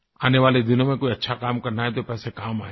आने वाले दिनों में कोई अच्छा काम करना है तो पैसे काम आयेगें